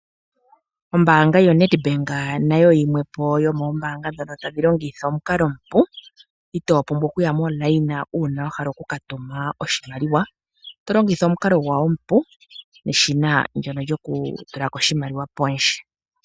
Ombaanga yoNEDBANK nayo oyimwe po yomoombaanga ndhono tadhi longitha omukalo omupu, itoo pumbwa okuya molayina uuna wa hala oku ka tuma oshimaliwa, to longitha omukalo gwawo omupu neshina ndono lyoku tula ko oshimaliwa pondje.